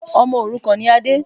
Ọmọ òrukàn ni Ade.